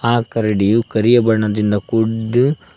ಆ ಕರಡಿಯು ಕರಿಯ ಬಣ್ಣದಿಂದ ಕೂಡು--